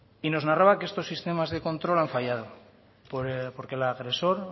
y nos narraba que estos sistemas de control han fallado porque el agresor